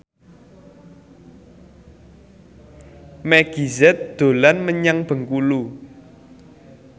Meggie Z dolan menyang Bengkulu